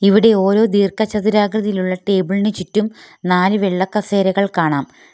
ഇവിടെ ഓരോ ദീർഘചതുരാകൃതിയിലുള്ള ടേബിളിന് ചുറ്റും നാല് വെള്ളക്കസേരകൾ കാണാം.